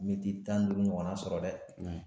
Miniti tan ni duuru ɲɔgɔnna sɔrɔ dɛ!